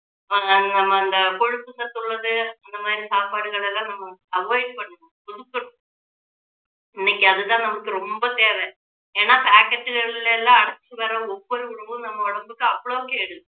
ஆஹ் ஹம் அந்த கொழுப்பு சத்து உள்ளது அந்த மாதிரி சாப்பாடுகளை எல்லாம் நம்ம avoid பண்ணணும் ஒதுக்கணும் இன்னைக்குஅதுதான் நமக்கு ரொம்ப தேவை ஏன்னா packet களில் எல்லாம் அடைச்சி வர்ற ஒவ்வொரு உணவும் நம்ம உடம்புக்கு அவ்வளவு கேடு